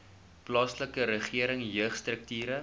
plaaslike regering jeugstrukture